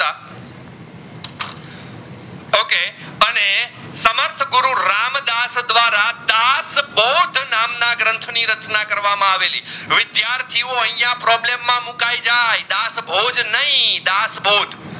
બોજ નામ ની ગ્રંથ ની રચના કરવામાં અવેલી વિદ્યાર્થીઓ અહીંયા problem માં મુકાઇ જાય દાતભોજ નઈ દાતબોધ